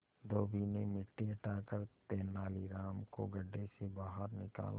धोबी ने मिट्टी हटाकर तेनालीराम को गड्ढे से बाहर निकाला